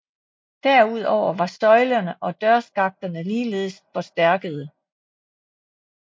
Derudover var søjlerne og dørskakterne ligeledes forstærkede